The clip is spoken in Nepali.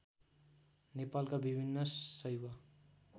नेपालका विभिन्न शैव